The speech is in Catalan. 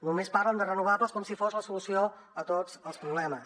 només parlen de renovables com si fos la solució a tots els problemes